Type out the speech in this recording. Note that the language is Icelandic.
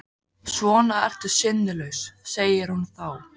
Svona ertu sinnulaus, segir hún þá.